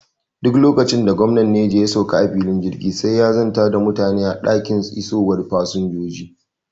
Duk lokacin da gwamnan Neja ya sauka a filin jirgi, sai ya zanta da mutane a dakin isowar fasinjoji.